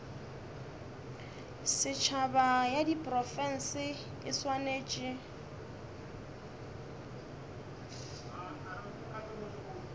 setšhaba ya diprofense e swanetše